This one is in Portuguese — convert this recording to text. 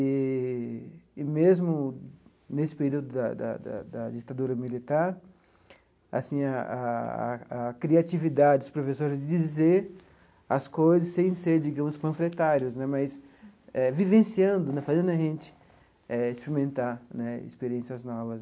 Eee e mesmo nesse período da da da da ditadura militar, assim a a a criatividade dos professores de dizer as coisas sem ser, digamos, panfletários né, mas vivenciando, fazendo a gente eh experimentar né experiências novas.